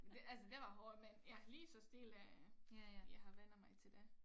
Det altså det var hårdt men ja lige så stille jeg har vænnet mig til dét